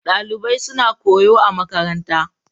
Dalibai suna koyo a makaranta.